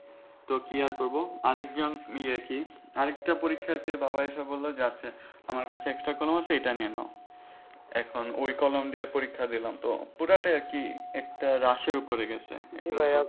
তো কি আর করব আরেকজন ইয়া আর কি আরেকটা পরীক্ষার্থীর বাবা এসে বলল যে আচ্ছা আমার কাছে extra কলম আছে এটা নিয়ে নাও এখন ওই কলম দিয়ে পরীক্ষা দিলাম তো পুরোটাই আর কি একটা rush এর ওপরে গেছে exam টা